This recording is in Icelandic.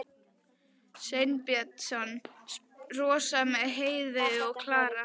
Sveinsson, Rósa með Heiðveigu og Klara.